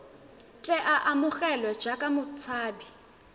tle a amogelwe jaaka motshabi